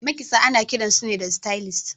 makitsa ana kiransu da stylist